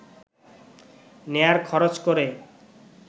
নেয়ার খরচ করে